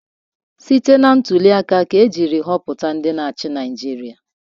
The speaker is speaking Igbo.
Site na ntuliaka ka e jiri họpụta ndị na-achị Naịjirịa.